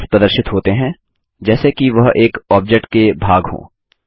handles प्रदर्शित होते हैं जैसे कि वह एक ऑब्जेक्ट के भाग हों